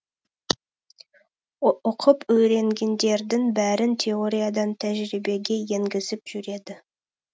оқып үйренгендердің бәрін теориядан тәжірибеге еңгізіп жүреді